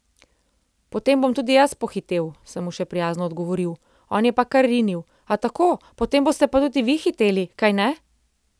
Potem bom tudi jaz pohitel,' sem mu še prijazno odgovoril, on je pa kar rinil: 'A tako, a potem boste pa tudi vi hiteli, kajne?